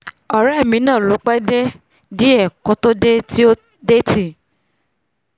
ọ̀rẹ́ mi náà ló pẹ́ díẹ̀ kó tó dé tó dé ti